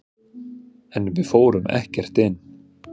En við fórum ekkert inn.